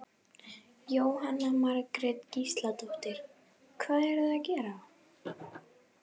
Jóhanna Margrét Gísladóttir: Hvað eruð þið að gera?